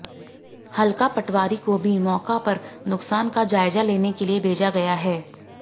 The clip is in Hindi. हलका पटवारी को भी मौका पर नुकसान का जायजा लेने के लिए भेजा गया है